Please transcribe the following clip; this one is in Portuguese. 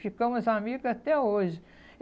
Ficamos amigas até hoje.